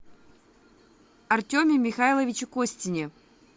артеме михайловиче костине